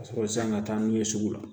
Ka sɔrɔ san ka taa n'u ye sugu la